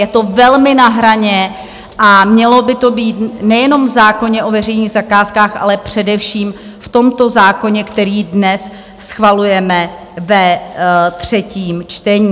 Je to velmi na hraně a mělo by to být nejenom v zákoně o veřejných zakázkách, ale především v tomto zákoně, který dnes schvalujeme ve třetím čtení.